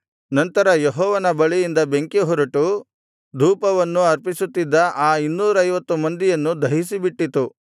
ನಂತರ ಯೆಹೋವನ ಬಳಿಯಿಂದ ಬೆಂಕಿಹೊರಟು ಧೂಪವನ್ನು ಅರ್ಪಿಸುತ್ತಿದ್ದ ಆ ಇನ್ನೂರೈವತ್ತು ಮಂದಿಯನ್ನು ದಹಿಸಬಿಟ್ಟಿತು